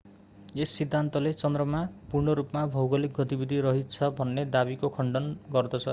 यस सिद्धान्तले चन्द्रमा पूर्ण रूपमा भौगोलिक गतिविधि रहित छ भन्ने दावीको खण्डन गर्दछ